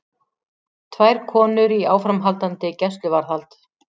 Tvær konur í áframhaldandi gæsluvarðhald